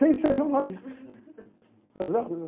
Sem ser jornalista. Gozado, né?